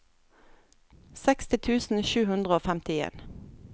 seksti tusen sju hundre og femtien